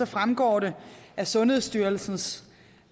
fremgår det at sundhedsstyrelsens